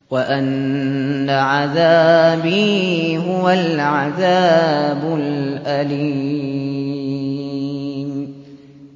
وَأَنَّ عَذَابِي هُوَ الْعَذَابُ الْأَلِيمُ